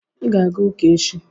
Ị ga-aga ụka echi.